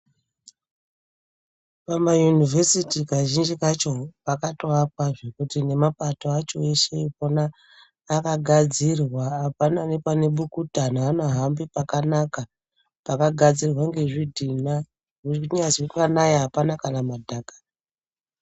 Pama univhesiti kazhinji kacho pakatoakwa zvekuti nemapato acho eshe epona akagadzirwa apana nepane bukuta anhu anohambe pakanaka pakagadzirwa ngezvidhina kunyazi panaya apana kana madhaka.